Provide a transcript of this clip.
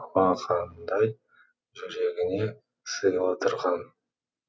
алақандай жүрегіне сыйлыдырған